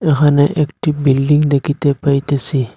এখানে একটি বিল্ডিং দেখিতে পাইতেসি।